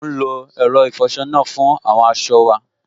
À n lo ẹ̀rọ ìfọsọ náà fún àwọn aṣọ wa